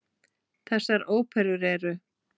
Þessar óperur eru